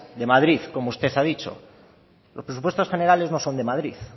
de madrid como usted ha dicho los presupuestos generales no son de madrid